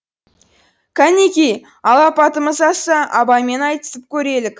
кәнеки алапатымыз асса абаймен айтысып көрелік